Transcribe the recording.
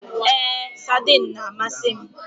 Èé, saidin na amasị m